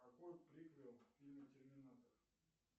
какой приквел в фильме терминатор